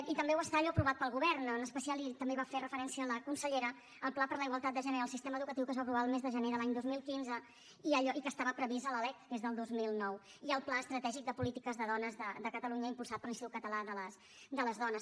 i també ho està allò aprovat pel govern en especial i també hi va fer referència la consellera el pla per a la igualtat de gènere en el sistema educatiu que es va aprovar el mes de gener de l’any dos mil quinze i que estava previst a la lec que és del dos mil nou i al pla estratègic de polítiques de dones de catalunya impulsat per l’institut català de les dones